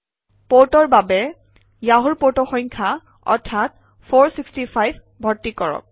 পৰ্টৰ বাবে য়াহুৰ পৰ্ট সংখ্যা অৰ্থাৎ 465 ভৰ্তি কৰক